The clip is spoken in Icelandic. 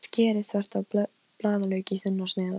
Klobbi karlinn gefur lítið fyrir áskoranir mínar.